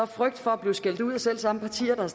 frygt for at blive skældt ud af de selv samme partier der